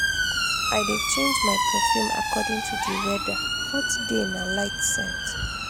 i dey change my perfume according to di weather hot day na light scent.